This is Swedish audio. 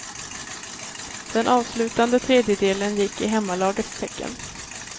Den avslutande tredjedelen gick i hemmalagets tecken.